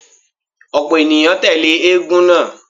Ọ̀pọ̀ ènìyàn tẹ́lẹ̀ eégún náà.